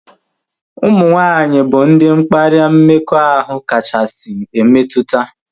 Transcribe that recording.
Ụmụ nwaanyị bụ ndị mkparịa mmekọahụ kachasị emetụta